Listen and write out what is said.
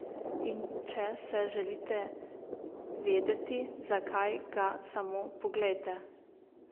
In če se želite vedeti, zakaj, ga samo poglejte.